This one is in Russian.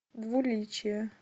двуличие